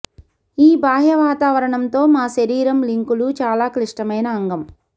ఈ బాహ్య వాతావరణం తో మా శరీరం లింకులు చాలా క్లిష్టమైన అంగం